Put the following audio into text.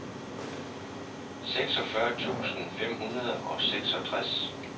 seksogfyrre tusind fem hundrede og seksogtres